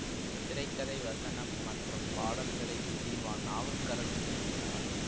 திரை கதை வசனம் மற்றும் பாடல்களை ஜீவா நாவுக்கரசன் எழுதினார்